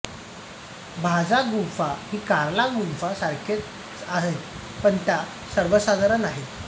भाजा गुंफा ही कार्ला गुंफा सारख्याच आहेत पण त्या सर्वसाधारण आहेत